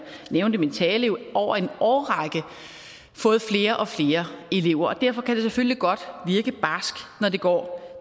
nævnte i min tale over en årrække fået flere og flere elever og derfor kan det selvfølgelig godt virke barskt når det går